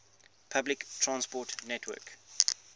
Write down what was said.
public transport network